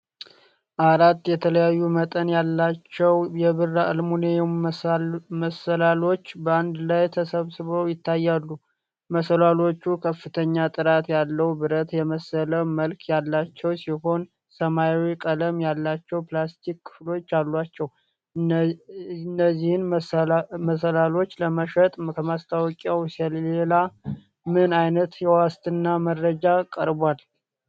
አራት የተለያዩ መጠን ያላቸው የብር አልሙኒየም መሰላልዎች በአንድ ላይ ተሰብስበው ይታያሉ። መሰላልዎቹ ከፍተኛ ጥራት ያለው ብረት የመሰለ መልክ ያላቸው ሲሆን፣ ሰማያዊ ቀለም ያላቸው ፕላስቲክ ክፍሎች አሏቸው። እነዚህን መሰላልዎች ለመሸጥ ከማስታወቂያው ሌላ ምን ዓይነት የዋስትና መረጃ ቀርቧል?